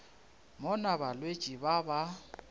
mo na balwetši ba ba